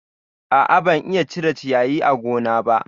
A'a, ban iya cire ciyayin gona ba